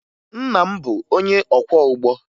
Nna m bụ onye ọkwọụgbọ